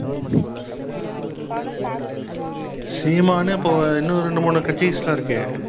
சீமானே இப்ப இன்னும் ரெண்டு, மூணு